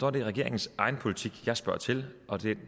er det regeringens egen politik jeg spørger til og